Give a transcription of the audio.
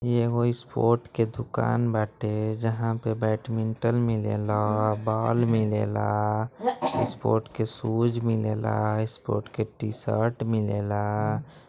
यहाँ एगो स्पोर्ट की दुकान बाटे। जहाँ पे बेडमिंटन मिलेला बॉल मिलेला स्पोर्ट के शूज मिलेला स्पोर्ट के टी-शर्ट मिलेला।